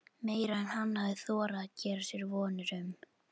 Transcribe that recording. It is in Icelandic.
Meira en hann hafði þorað að gera sér vonir um.